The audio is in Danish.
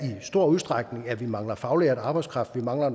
i stor udstrækning i at vi mangler faglært arbejdskraft vi mangler